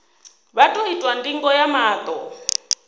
vha ḓo itwa ndingo ya maṱo